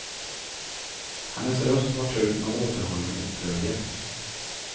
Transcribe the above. Hennes röst var tung av återhållen upprördhet.